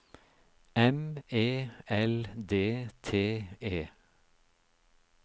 M E L D T E